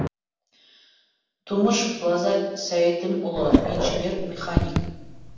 тумышев лазарь сәйдімұлы инженер механик